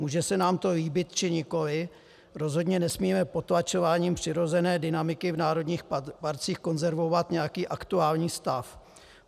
Může se nám to líbit, či nikoliv, rozhodně nesmíme potlačováním přirozené dynamiky v národních parcích konzervovat nějaký aktuální stav.